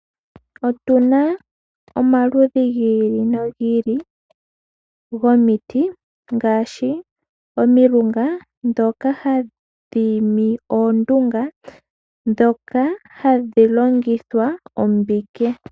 Otu na omaludhi gi ili nogi ili gomiti ngaashi omilunga ndhoka hadhi imi oondunga ndhoka hadhi longithwa ombike.